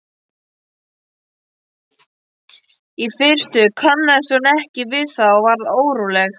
Í fyrstu kannaðist hún ekki við það og varð óróleg.